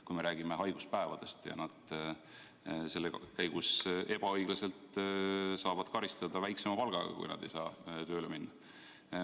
Kui me räägime haiguspäevadest, siis nad nende ajal saavad ebaõiglaselt karistada väiksema palgaga, kui nad ei saa tööle minna.